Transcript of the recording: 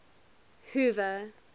hoover